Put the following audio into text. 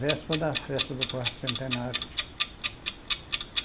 Véspera da festa do quarto centenário.